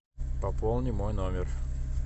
пополни мой номер